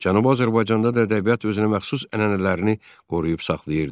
Cənubi Azərbaycanda da ədəbiyyat özünəməxsus ənənələrini qoruyub saxlayırdı.